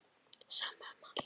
Sama um allt.